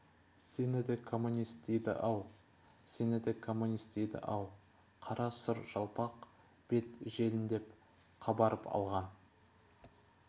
сені де коммунист дейді - ау сені де коммунист дейді-ау қара сұр жалпақ бет желіндеп қабарып алған